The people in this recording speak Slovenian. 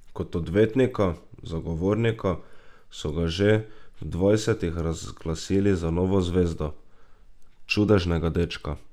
Kot odvetnika zagovornika so ga že v dvajsetih razglasili za novo zvezdo, čudežnega dečka.